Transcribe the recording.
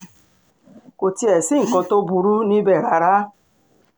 kò tiẹ̀ sí nǹkan tó burú níbẹ̀ rárá